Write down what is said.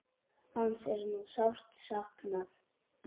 Hans er nú sárt saknað.